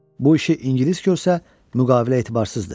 Bu işi ingilis görsə, müqavilə etibarsızdır.